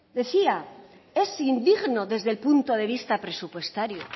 decía es indigno desde el punto de vista presupuestario